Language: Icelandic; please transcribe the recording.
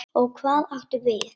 Og hvað áttu við?